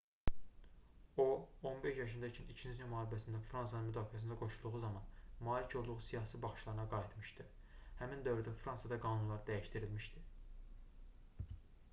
o 15 yaşında ikən i̇kinci dünya müharibəsində fransanın müdafiəsinə qoşulduğu zaman malik olduğu siyasi baxışlarına qayıtmışdı. həmin dövrdə fransada qanunlar dəyişdirilmişdi